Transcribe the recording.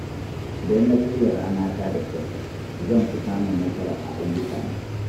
Idan na shirya rana ta da kyau, zan fi samun nasara a ayyukana.